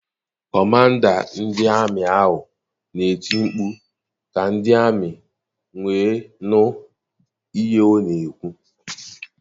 Kọmanda ndị amị ahụ na-eti mkpu ka ndị ami wee nụ ihe ọ na-ekwu.